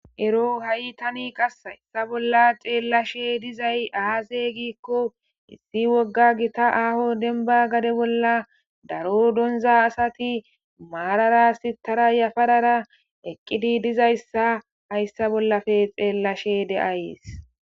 Ero hai tani qase ta bola xelashshe dizayisi aze gikko issi woga gita aho demiba gade bola daro doniza asati marara sitara yafarara eqidi dizayisa hayisa bolappe xelashshe deeayisi